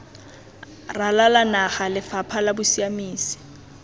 ralala naga lefapha la bosiamisi